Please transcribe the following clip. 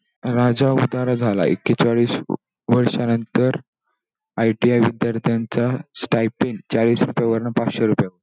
राजा उदार झालाय. एकेचाळीस वर्षांनंतर ITI विद्यार्थ्यांचा stypen चाळीस रुपयावरण पाचशे रुपये.